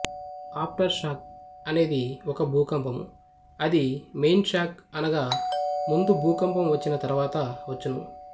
after shock అనేది ఒక భూకంపము అది మెయిన్ షాక్ అనగా ముందు భూకంపము వచ్చిన తర్వాత వచ్చును